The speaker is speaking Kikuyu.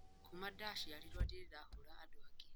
Kuuma ndaciarũo ndirĩ ndahũũra andũ angĩ.